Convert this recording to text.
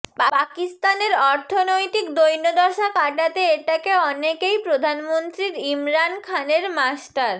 পাকিস্তানের অর্থনৈতিক দৈন্যদশা কাটাতে এটাকে অনেকেই প্রধানমন্ত্রীর ইমরান খানের মাস্টার